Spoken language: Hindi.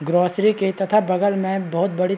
ग्रोसरी के तथा बगल में बहोत बड़ी--